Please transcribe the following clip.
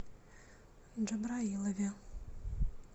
джабраилове